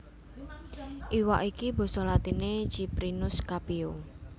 Iwak iki basa latiné Ciprinus Capio